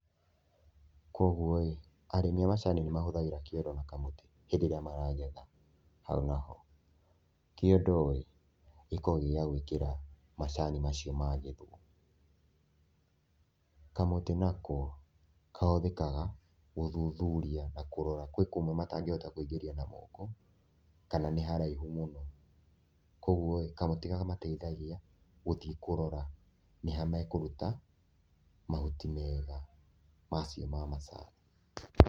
Kwoguo rĩ, arĩmi a macani nĩ mahũthagĩra kĩondo na kamũtĩ hĩndĩ ĩrĩa maragetha. Hau naho, kĩondo rĩ, gĩkoragwo gĩ gĩa gwĩkĩra macani macio magethwo. Kamũtĩ nako kahũthĩkaga gũthuthuria na kũrora, gwĩ kũmwe matangĩhota kũingĩria na moko kana nĩ haraihu mũno. Kwoguo rĩ, kamũtĩ kamateithagia gũthiĩ kũrora nĩ ha mekũruta mahuti mega macio ma macani.